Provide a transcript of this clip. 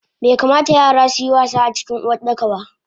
Baikamata yara suyi wasa acikin Uwardakaba